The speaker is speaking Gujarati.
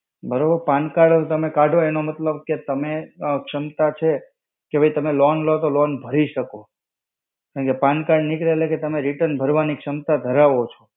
બરોબર, pan card તમે કાઢો એનો મતલબ કે તમે ક્ષમતા છે, કે ભઈ તમે loan લ્યો તો તમે loan ભરી શકો. કેમકે pan card નીકળે એટલે કે તમે return ભરવાની ક્ષમતા ધરાવો છો.